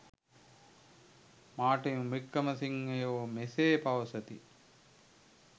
Martin වික්‍රමසිංහයෝ මෙසේ පවසති.